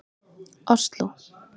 Osló